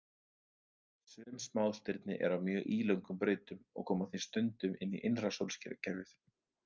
Sum smástirni eru á mjög ílöngum brautum og koma því stundum inn í innra sólkerfið.